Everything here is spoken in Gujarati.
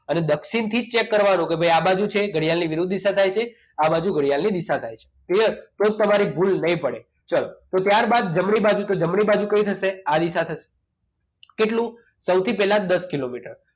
અને દક્ષિણથી જ cheak કરવાનું કે આ બાજુ છે ઘડિયાની વિરુદ્ધ દિશા થાય છે કે આ બાજુ ઘડિયાળની દિશા થાય છે clear તો જ તમારી ભૂલ નહીં પડે ચાલો તો ત્યારબાદ જમણી બાજુ તો જમણી બાજુ કઈ થશે આ દિશા થશે કેટલું સૌથી પહેલા દસ કિલોમીટર